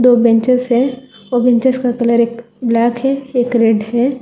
दो बेंचेज है बेंचेज का कलर ब्लैक है रेड है।